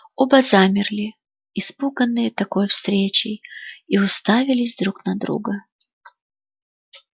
оба замерли испуганные такой встречей и уставились друг на друга